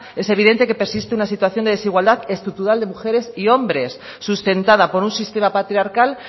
es evidente que persiste una situación de desigualdad estructural de mujeres y hombres sustentada por un sistema patriarcal